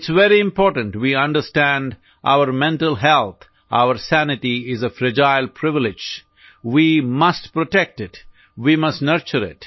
it's very important we understand our mental health our sanity is a fragile privilege we must protect it we must nurture इत